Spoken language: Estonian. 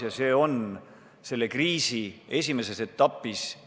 Praegu on tegu kriisi esimese etapiga.